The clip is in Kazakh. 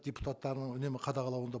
депутаттарының үнемі қадағалауында